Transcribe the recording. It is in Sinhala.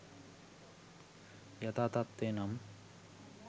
යථා තත්ත්වය නම්